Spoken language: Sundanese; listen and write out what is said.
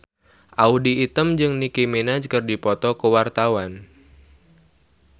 Audy Item jeung Nicky Minaj keur dipoto ku wartawan